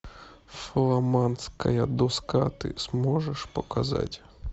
фламандская доска ты сможешь показать